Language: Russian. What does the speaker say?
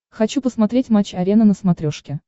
хочу посмотреть матч арена на смотрешке